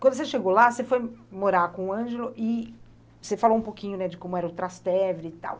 Quando você chegou lá, você foi morar com o Ângelo e você falou um pouquinho, né, de como era o Trastevere e tal.